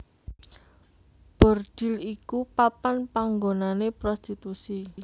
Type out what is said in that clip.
Bordhil iku papan panggonané prostitusi